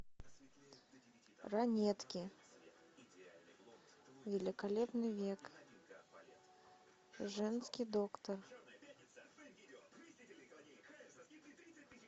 ранетки великолепный век женский доктор